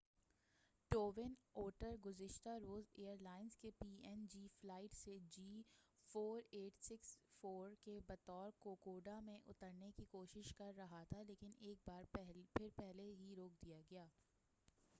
twin Otter گزشتہ روز airlines کی P N G flight C G 4684 کے بطور کوکوڈا میں اترنے کی کوشش کر رہا تھا لیکن ایک بار پھر پہلے ہی روک دیا گیا